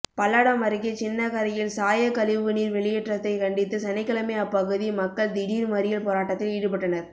பல்லடம் அருகே சின்னக்கரையில் சாய கழிவு நீா் வெளியேற்றத்தை கண்டித்து சனிக்கிழமை அப்பகுதி மக்கள் திடீா் மறியல் போராட்டத்தில் ஈடுபட்டனா்